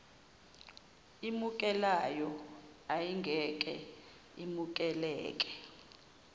emukelayo ayingeke imukeleke